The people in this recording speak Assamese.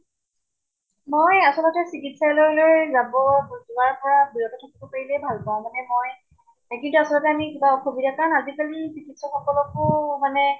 মই আচলতে চিকিৎসালয়লৈ যাব যোৱাৰ পৰা বিৰত থাকিব পাৰিলেই ভাল পাওঁ । মানে মই কাৰণে কিবা অসুবিধা কাৰণ আজি কালি চিকিৎসকলকো মানে